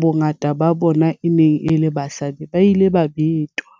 bongata ba bona e neng e le basadi, ba ile ba betwa.